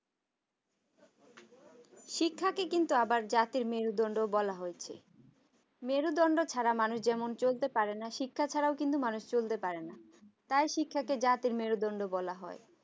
শিক্ষাকে আবার কিন্তু জাতের মেরুদন্ড বলা হয়েছে মেরুদন্ড ছাড়া মানুষ যেমন চলতে পারেনা শিক্ষা ছাড়া মানুষ কিন্তু চলতে পারে না তাই শিক্ষা কে জাতের মেরুদন্ড বলা হয়